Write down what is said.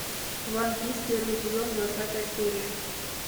ван пис первый сезон двадцатая серия